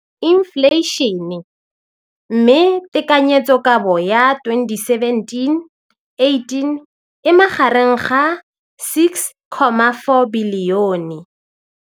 Infleišene, mme tekanyetsokabo ya 2017, 18, e magareng ga R6.4 bilione.